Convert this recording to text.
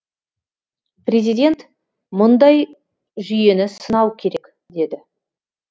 президент мұндай жүйені сынау керек деді